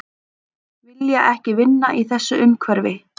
Vilja ekki vinna í þessu umhverfi